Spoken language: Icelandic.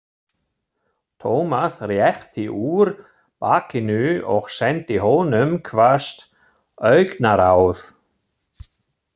Thomas rétti úr bakinu og sendi honum hvasst augnaráð.